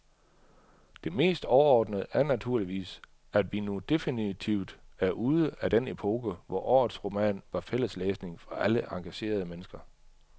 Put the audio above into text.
Det mest overordnede er naturligvis, at vi nu definitivt er ude af den epoke, hvor årets roman var fælles læsning for alle engagerede mennesker.